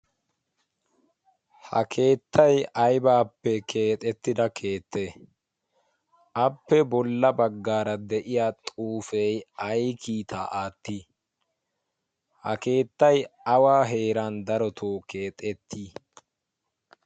ha keettay aybaappe keexettida keette appe bolla baggaara de'iya xuufey ay kiitaa aatti ha keettay awa heeran darotoo keexettii?